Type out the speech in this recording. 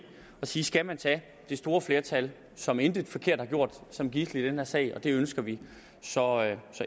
at sige skal man tage det store flertal som intet forkert har gjort som gidsel i den her sag det ønsker vi så